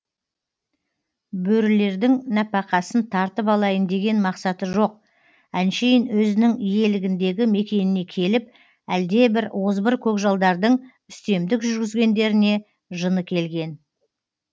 бөрілердің нәпақасын тартып алайын деген мақсаты жоқ әншейін өзінің иелігіндегі мекеніне келіп әлде бір озбыр көкжалдардың үстемдік жүргізгендеріне жыны келген